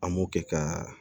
An m'o kɛ ka